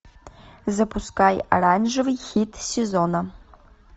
запускай оранжевый хит сезона